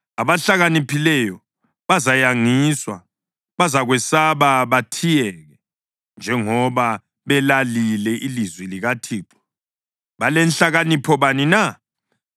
Abahlakaniphileyo bazayangiswa, bazakwesaba bathiyeke. Njengoba belalile ilizwi likaThixo, balenhlakanipho bani na?